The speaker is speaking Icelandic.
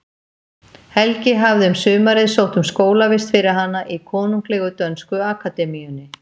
Helgi hafði um sumarið sótt um skólavist fyrir hana í Konunglegu dönsku akademíunni.